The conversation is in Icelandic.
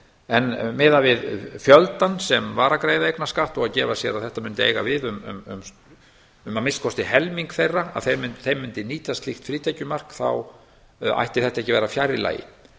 en miðað við fjöldann sem var að greiða eignarskatt og gefa sér að þetta mundi eiga við um að minnsta kosti helming þeirra að þeir mundu nýta slíkt frítekjumark þá ætti þetta ekki að vera fjarri lagi